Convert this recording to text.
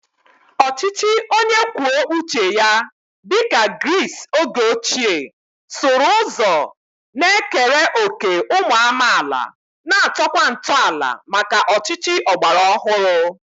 Ọchịchị onye kwuo uche ya dị ka Gris oge ochie sụrụ ụzọ na-ekere òkè ụmụ amaala, na-atọkwa ntọala maka ọchịchị ọgbara ọhụrụ.